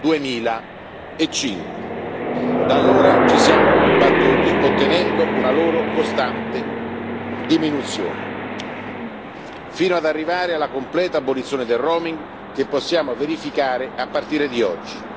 2005. Da allora ci siamo battuti ottenendo una loro costante diminuzione, fino ad arrivare alla completa abolizione del roaming che possiamo verificare a partire da oggi.